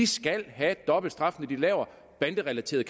skal have dobbelt straf når de laver banderelateret